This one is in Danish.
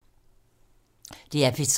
DR P3